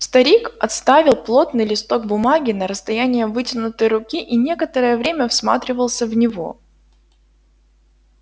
старик отставил плотный листок бумаги на расстояние вытянутой руки и некоторое время всматривался в него